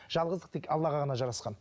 жалғыздық тек аллаға ғана жарасқан